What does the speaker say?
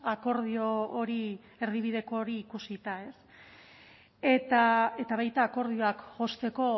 akordio hori erdibideko hori ikusita eta baita akordioak josteko